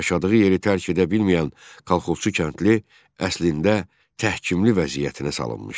Yaşadığı yeri tərk edə bilməyən kolxozçu kəndli əslində təhkimli vəziyyətinə salınmışdı.